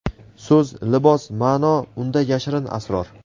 So‘z — libos, ma’no unda yashirin asror.